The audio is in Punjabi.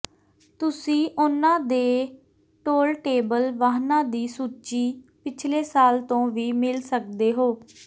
ਤੁਸੀਂ ਉਨ੍ਹਾਂ ਦੇ ਟੋਲਟੇਬਲ ਵਾਹਨਾਂ ਦੀ ਸੂਚੀ ਪਿਛਲੇ ਸਾਲ ਤੋਂ ਵੀ ਮਿਲ ਸਕਦੇ ਹੋ